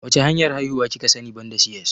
Wacce hanyar haihuwa kika sani banda C.S?